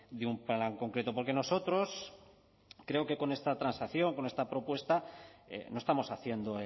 de un plan concreto porque nosotros creo que con esta transacción con esta propuesta no estamos haciendo